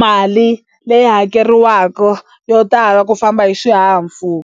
mali leyi hakeriwaka yo tala ku famba hi xihahampfhuka.